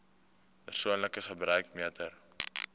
persoonlike gebruik meter